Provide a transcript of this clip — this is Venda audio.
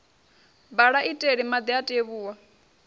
bala iteli madi a tevhuwa